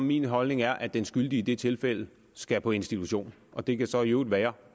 min holdning er at den skyldige i det tilfælde skal på institution og det kan så i øvrigt være